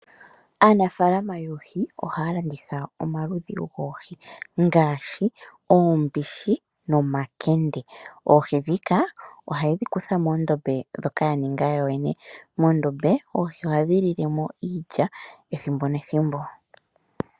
Aanafaalama yoohi ohaya landitha omaludhi goohi ngaashi uumbushi nomakende oohi ndhika ohayedhi kuthamo muudhiya mboka ya ninga yoyene . Muudhiya moka ohadhi lilemo iilya ethimbo nethimbo.